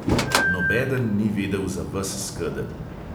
Nobeden ni vedel za ves skedenj.